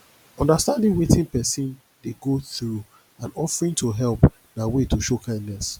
understanding wetin persin de go through and offering to help na way to show kindness